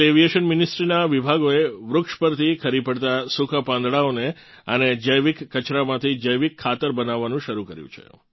civil aviation ministry નાં વિભાગોએ વૃક્ષ પરથી ખરી પડતાં સૂકાં પાંદડાંઓને અને જૈવિક કચરામાંથી જૈવિક ખાતર બનાવવાનું શરૂ કર્યું છે